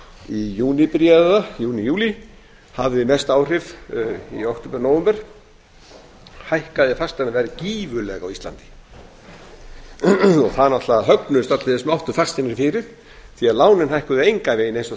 í júní byrjaði það júní nóvember og hækkaði fasteignaverð gífurlega á íslandi það náttúrlega högnuðust allir sem áttu fasteignir fyrir því lánin hækkuðu engan veginn eins og